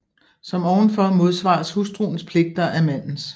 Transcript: Som ovenfor modsvares hustruens pligter af mandens